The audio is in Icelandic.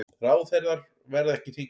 Ráðherrar verði ekki þingmenn